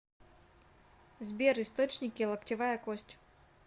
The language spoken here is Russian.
сбер источники локтевая кость